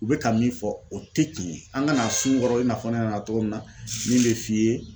U be ka min fɔ o te cɛn ye an ka na a sun kɔrɔ i n'a fɔ ne nana togo min na min be f'i ye